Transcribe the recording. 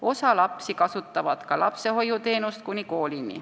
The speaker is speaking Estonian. Osa vanemaid eelistab enne kooli lapsehoiuteenust.